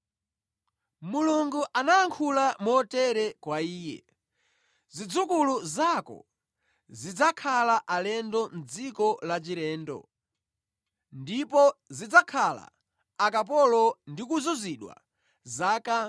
Mulungu anayankhula motere kwa iye: ‘Zidzukulu zako zidzakhala alendo mʼdziko lachilendo, ndipo zidzakhala akapolo ndi kuzunzidwa zaka 400.’